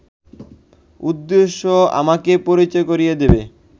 উদ্দেশ্য আমাকে পরিচয় করিয়ে দেবে